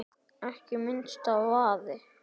Ekki minnsti vafi.